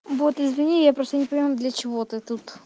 вот извини я просто не понимаю для чего ты тут